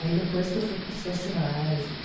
Aí depois que eu fui para os festivais e tudo.